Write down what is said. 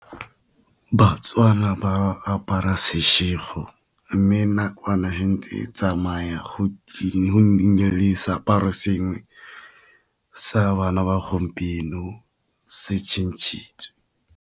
Batswana ba apara mme nakwana fa ntse tsamaya go nnile le seaparo sengwe sa a bana ba gompieno se change-tswe.